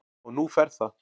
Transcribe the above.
Og nú fer það